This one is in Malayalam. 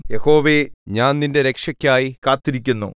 യഹോവേ ഞാൻ നിന്റെ രക്ഷക്കായി കാത്തിരിക്കുന്നു